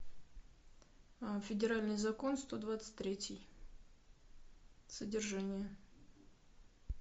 федеральный закон сто двадцать третий содержание